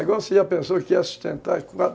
Agora, se a pessoa quer sustentar